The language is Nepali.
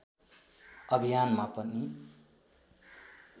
अभियानमा पनि